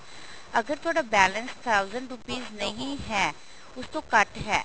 ਅਗਰ ਤੁਹਾਡਾ balance thousand rupees ਨਹੀਂ ਹੈ ਉਸ ਤੋਂ ਘੱਟ ਹੈ